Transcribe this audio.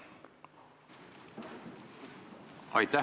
Aitäh!